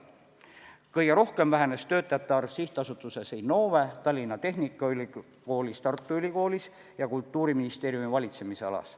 Kõige rohkem vähenes töötajate arv SA-s Innove, Tallinna Tehnikaülikoolis, Tartu Ülikoolis ja Kultuuriministeeriumi valitsemisalas.